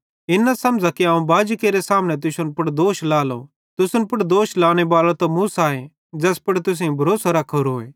इन न समझ़ा कि अवं बाजेरे सामने तुसन पुड़ दोष लेइएलो तुसन पुड़ दोष लानेबालोए त मूसोए ज़ैस पुड़ तुसेईं भरोसो रख्खोरोए